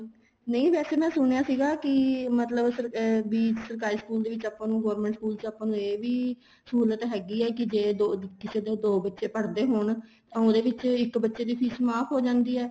ਨਹੀਂ ਵੈਸੇ ਮੈਂ ਸੁਣਿਆ ਸੀਗਾ ਕੀ ਮਤਲਬ ਏ ਵੀ ਸਰਕਾਰੀ school ਦੇ ਆਪਾਂ ਨੂੰ government school ਚ ਆਪਾਂ ਨੂੰ ਇਹ ਵੀ ਸਹੂਲਤ ਹੈਗੀ ਆ ਕੀ ਜ਼ੇ ਕਿਸੇ ਦੋ ਬੱਚੇ ਪੜ੍ਹਦੇ ਹੋਣ ਤਾਂ ਉਹਦੇ ਵਿੱਚ ਇੱਕ ਬੱਚੇ ਦੀ ਫ਼ੀਸ ਮਾਫ਼ ਹੋ ਜਾਂਦੀ ਏ